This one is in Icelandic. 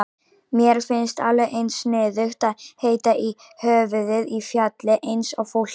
Mér finnst alveg eins sniðugt að heita í höfuðið á fjalli eins og fólki.